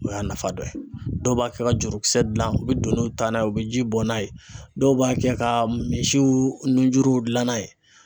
O y'a nafa dɔ ye dɔw b'a kɛ ka jurukisɛ dilan u bɛ doniw ta n'a ye u bɛ jiw bɔ n'a ye dɔw b'a kɛ ka misiw nunjuruw dilan n'a ye.